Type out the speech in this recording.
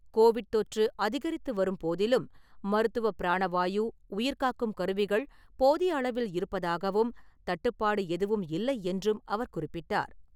Covid தொற்று அதிகரித்து வரும்போதிலும், மருத்துவ பிராண வாயு, உயிர்காக்கும் கருவிகள் போதிய அளவில் இருப்பதாகவும், தட்டுப்பாடு எதுவும் இல்லை என்றும் அவர் குறிப்பிட்டார்.